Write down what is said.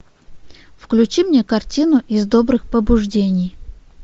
включи мне картину из добрых побуждений